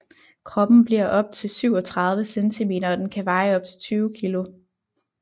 Kroppen bliver op til 37 cm og den kan veje op til 20 kg